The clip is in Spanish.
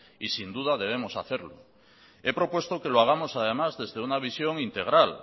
y sin duda debemos hacerlo he propuesto que lo hagamos además desde una visión integral